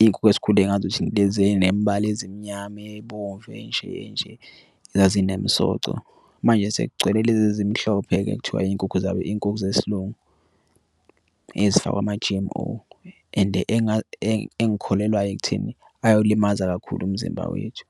Iy'nkukhu esikhule ngazp thina ilezi nemibhalo ezimnyama ebomvu enje enje zazinemisoco. Manje sekugcwele lezi zimhlophe ekuthiwa iy'nkukhu zabo iy'nkukhu zesilungu ezifakwa ama-G_M_O and engikholelwayo ekutheni ayolimaza kakhulu umzimba wethu.